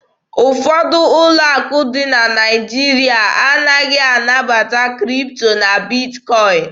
Ụfọdụ ụlọ akụ dị na Naịjirịa anaghị anabata Kripto na Bitkọin.